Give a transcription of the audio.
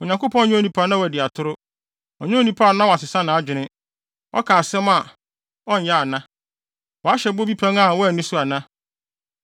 Onyankopɔn nyɛ onipa na wadi atoro; Ɔnyɛ onipa na wasesa nʼadwene. Ɔka asɛm a ɔnyɛ ana? Wahyɛ bɔ bi pɛn a wanni so ana?